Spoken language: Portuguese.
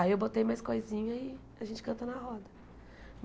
Aí eu botei mais coisinha e a gente canta na roda.